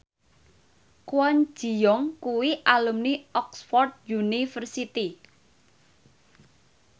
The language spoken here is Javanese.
Kwon Ji Yong kuwi alumni Oxford university